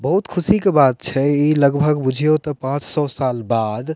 बहुत खुशी के बात छै इ लगभग बुझीयों ते पांच सौ साल बाद --